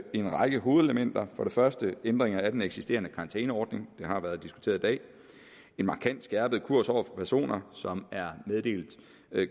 en række hovedelementer for det første ændringer af den eksisterende karantæneordning det har været diskuteret i dag en markant skærpet kurs over for personer som er meddelt